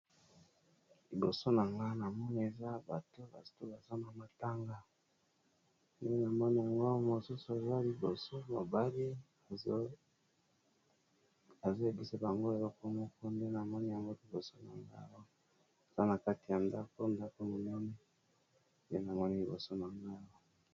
Liboso na nga na moni eza bato baza na matanga na moni yango mosusu aza liboso mobali ezo lekisa bango eloko moku nde na moni ya moto liboso na nga aza na kati ya ndako. Ndako monene ye na moni liboso na ngo .